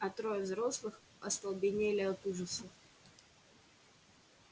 а трое взрослых остолбенели от ужаса